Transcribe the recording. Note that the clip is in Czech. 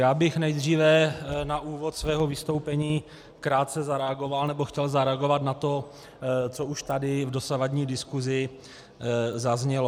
Já bych nejdříve na úvod svého vystoupení krátce zareagoval, nebo chtěl zareagovat na to, co už tady v dosavadní diskusi zaznělo.